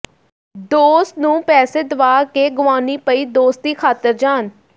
ਦੋਸਤ ਨੂੰ ਪੈਸੇ ਦਵਾ ਕੇ ਗਵਾਉਣੀ ਪਈ ਦੋਸਤੀ ਖ਼ਾਤਰ ਜਾਨ